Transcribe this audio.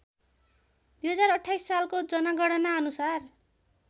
२०२८ सालको जनगणनाअनुसार